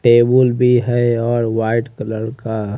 table भी है और व्हाइट कलर का--